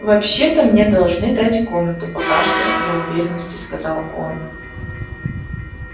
вообще то мне должны дать комнату покашлял для уверенности сказал он